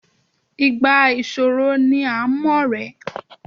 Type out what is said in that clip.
Ìgbà ìṣòro ni à ń ọ̀rẹ́.